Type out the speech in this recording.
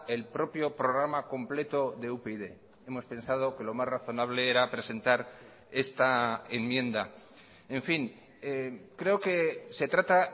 el propio programa completo de upyd hemos pensado que lo más razonable era presentar esta enmienda en fin creo que se trata